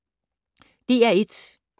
DR1